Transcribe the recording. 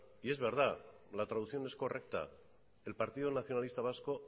y es verdad la traducción es correcta el partido nacionalista vasco